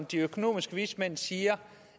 de økonomiske vismænd siger